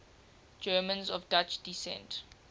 germans of dutch descent